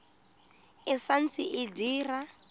e sa ntse e dira